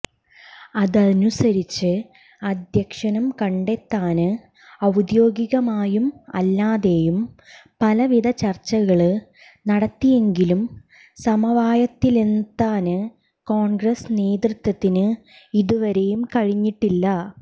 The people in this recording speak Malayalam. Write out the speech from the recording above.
അതനുസരിച്ച് അധ്യക്ഷനം കണ്ടെത്താന് ഔദ്യോഗികമായും അല്ലാതെയും പലവിധ ചര്ച്ചകള് നടത്തിയെങ്കിലും സമവായത്തിലെത്താന് കോണ്ഗ്രസ് നേതൃത്വത്തിന് ഇതുവരെയും കഴിഞ്ഞിട്ടില്ല